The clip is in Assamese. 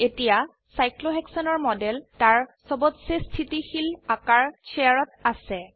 এতিয়া সাইক্লোহেক্সনৰ মডেল তাৰ সবতচে স্থিতিশীল আকাৰ chairত আছে